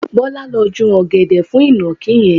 Bọlá ló ju ọ̀gẹ̀dẹ̀ fún ìnàkí yẹn.